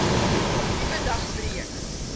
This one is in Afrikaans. nuwe dag breek